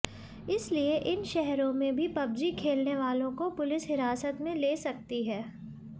इसलिए इन शहरों में भी पबजी खेलने वालों को पुलिस हिरासत में ले सकती है